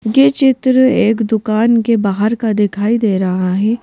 के चित्र एक दुकान के बाहर का दिखाई दे रहा है।